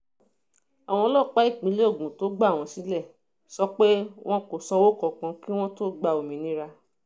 àwọn ọlọ́pàá ìpínlẹ̀ ogun tó gbà wọ́n sílẹ̀ sọ pé wọn kò sanwó kankan kí wọ́n tóó gba òmìnira